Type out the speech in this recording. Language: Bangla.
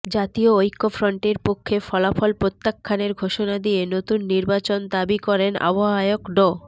জাতীয় ঐক্যফ্রন্টের পক্ষে ফলাফল প্রত্যাখ্যানের ঘোষণা দিয়ে নতুন নির্বাচন দাবি করেন আহ্বায়ক ড